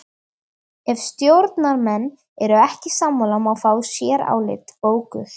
Ef stjórnarmenn eru ekki sammála má fá sérálit bókuð.